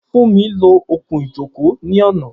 Funmi lo okùn-ìjókòó ní ọ̀nà.